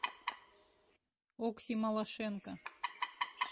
окси малашенко